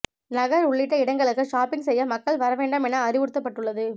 நகர் உள்ளிட்ட இடங்களுக்கு ஷாப்பிங் செய்ய மக்கள் வரவேண்டாம் என அறிவுறுத்தப்பட்டுள்ளது